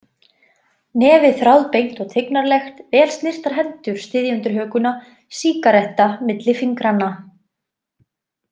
Nefið þráðbeint og tignarlegt, vel snyrtar hendur styðja undir hökuna, sígaretta milli fingranna.